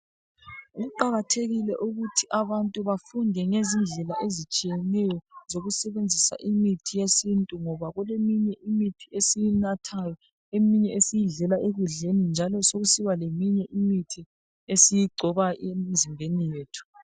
Kuqakathekile ukuthi abantu bafunde ngezindlela ezitshiyeneyo zokusebenzisa imithi yesintu ngoba kuleminye imithi esiyinathayo eminye esiyidlela ekudleni njalo sokusiba leminye imithi esiyigcoba emizimbeni yethu.